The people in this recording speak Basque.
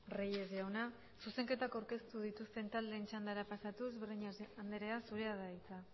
reyes jauna zuzenketak aurkeztu dituzten taldeen txandara pasatuz breñas andrea zurea da hitza